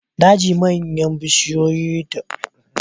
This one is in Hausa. Daji manyan yankuna ne da bishiyoyi da ciyayi suka rufe.